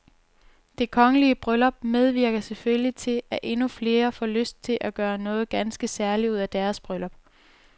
Det kongelige bryllup medvirker selvfølgelig til, at endnu flere selv får lyst til at gøre noget ganske særligt ud af deres bryllup.